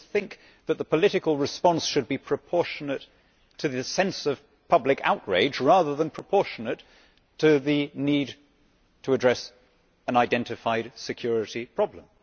People think that the political response should be proportionate to the sense of public outrage rather than proportionate to the need to address an identified security problem.